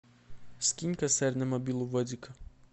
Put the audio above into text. скинь косарь на мобилу вадика